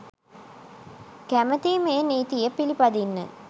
කැමතියි මේ නීතිය පිළිපදින්න.